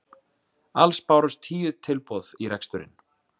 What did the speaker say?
Alls bárust tíu tilboð í reksturinn